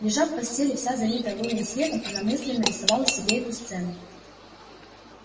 лёжа в постели вся залитая лунным светом она мысленно рисовала себе эту сцену